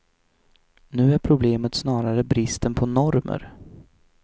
Nu är problemet snarare bristen på normer.